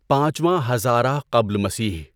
پانچواں ہزاره قبل مسیح